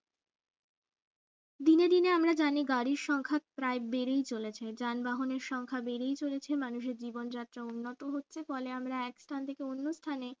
দিনে দিনে আমরা জানি গাড়ির সংখ্যা প্রায় বেড়েই চলেছে যানবাহনের সংখ্যা বেড়ে চলেছে মানুষের জীবনযাত্রা উন্নত হচ্ছে ফলে আমরা এক স্থান থেকে অন্য স্থানে